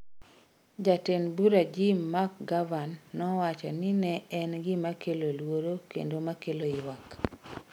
Jatend bura Jim McGovern nowacho ni ne en gima kelo luoro kendo ma kelo ywak.